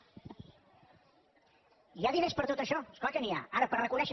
hi ha diners per a tot això és clar que n’hi ha ara per reconèixer